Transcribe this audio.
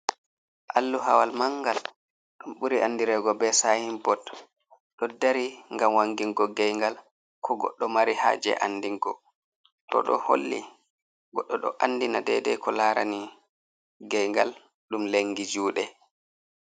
Alluhaawal manngal, ɗum ɓuri anndireego be saayin bot, ɗo dari ngam wangingo geyngal, ko goɗɗo mari haaje anndingo, to ɗo holli goɗɗo ɗo anndina deedey ko laarani geyngal ɗum lengi juuɗe.